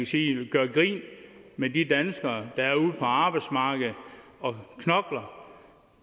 sige gør grin med de danskere der er ude på arbejdsmarkedet og knokler